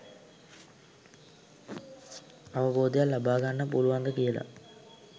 අවබෝධයක් ලබාගන්න පුළුවන්ද කියල.